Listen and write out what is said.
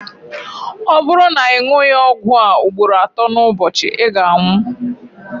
ọ bụrụ na ị ṅụghị ọgwụ a ugboro atọ n'ụbọchị ị ga-anwụ